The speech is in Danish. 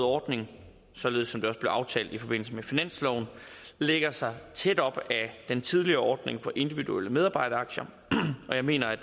ordning således som det aftalt i forbindelse med finansloven lægger sig tæt op ad den tidligere ordning for individuelle medarbejderaktier og jeg mener at